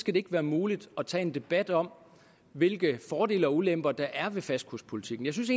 skal det ikke være muligt at tage en debat om hvilke fordele og ulemper der er ved fastkurspolitikken jeg synes